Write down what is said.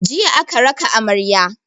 Jiya aka raka amarya.